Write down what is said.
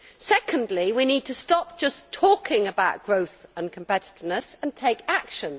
Secondly, we need to stop just talking about growth and competitiveness and take action.